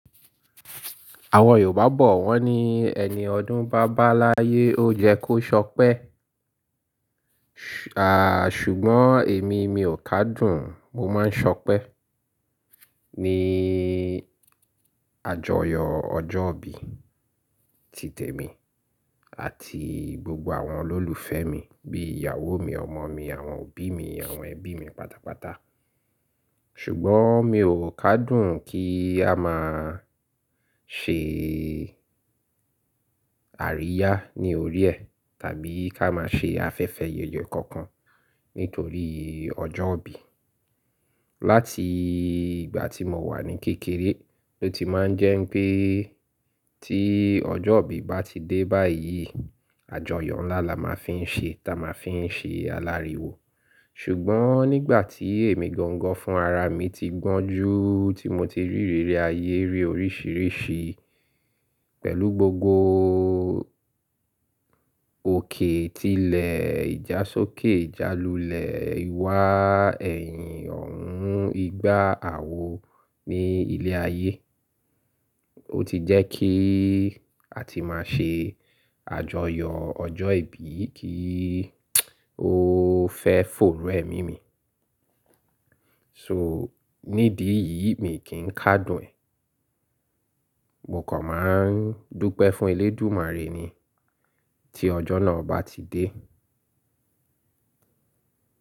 Àwọn Yorùbá bọ̀ wọ́n ní ẹni ọdún bá báláyé ó yẹ kó ṣọpẹ́. À, ṣùgbọ́n èmi, mi ò ká dùn mo máa ń ṣọpẹ́ ní àjọyọ̀ ọjọ́ ìbí, ti tèmi àti gbogbo àwọn olólùfẹ́ mi bí ìyàwó mi, ọmọ mi, àwọn òbí mi, àwọn ẹbí mi pátápátá. Ṣùgbọ́n mi ò ká dùn kí a máa ṣe àríyá ní orí ẹ tàbí ká máa ṣe afẹ́fẹ́ yeye kankan nítorí ọjọ́ ìbí. Láti ìgbà tí mo wà ní kékeré ló ti máa ń jẹ́ pé tí ọjọ́ ìbí bá ti dé báyìí, àjọyọ̀ ńlá la máa fi ń ṣe táa máa fi ń ṣe aláriwo. Ṣùgbọ́n nígbà tí èmi gangan fún ara mi ti gbọ́n jú, tí mo ti rí iriri ayé rí oríṣìíríṣìí pẹ̀lú gbogbo òkè, tilẹ̀, ìjá sókè, ìjá lulẹ̀, ìwà ẹ̀yìn, ọ̀ọ́hùn, igba, àwo ní ilé ayé, ó ti jẹ́ kí àti máa ṣe àjọyọ̀ ọjọ́ ìbí kí ó fẹ́ fòòró ẹ̀mí mi. So nídí yìí mi kì i n ká dùn ẹ. Mo kàn máa ń dúpẹ́ fún Elédùmarè ni tí ọjọ́ náà bá ti dé.